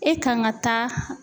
E kan ka taa